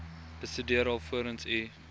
bestudeer alvorens u